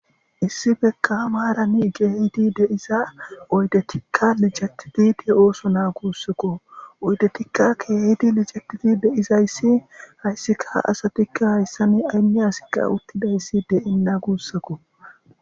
Issi bekka maarani geehidi deiza oydetikka lijatiti de ooso naa guussakko oydetikka keehidi lijatiti deizayssi hayssika ha asatikka hayssani aynne asikka uttidayssi de7enna guussakko.